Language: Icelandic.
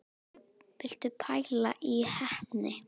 Viltu pæla í heppni!